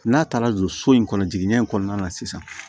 N'a taara don so in kɔnɔ jiginya in kɔnɔna na sisan